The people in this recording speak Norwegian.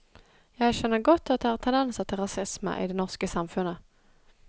Jeg skjønner godt at det er tendenser til rasisme i det norske samfunnet.